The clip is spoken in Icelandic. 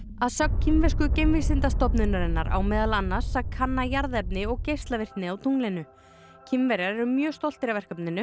að sögn kínversku geimvísindastofnunarinnar á meðal annars að kanna jarðefni og geislavirkni á tunglinu Kínverjar eru mjög stoltir af verkefninu